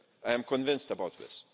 I am convinced about this